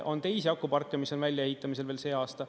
On teisi akuparke, mis on väljaehitamisel veel see aasta.